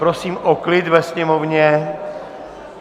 Prosím o klid ve sněmovně.